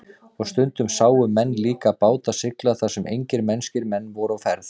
Og stundum sáu menn líka báta sigla þar sem engir mennskir menn voru á ferð.